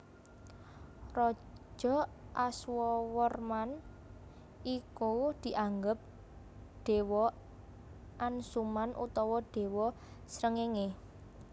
Raja Aswawarman iku dianggep dewa Ansuman utawa dewa Srengenge